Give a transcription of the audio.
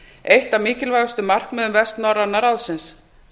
eitt af mikilvægustu markmiðum vestnorræna ráðsins